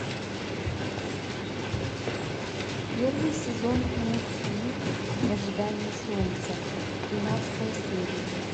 первый сезон мультфильм в ожидании солнца тринадцатая серия